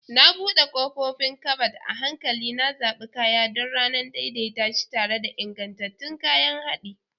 Na buɗe ƙofofin kabad, a hankali na zaɓi kaya don ranar, daidaita shi tare da ingantattun kayan haɗi.